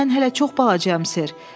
Axı mən hələ çox balacayam, Sir.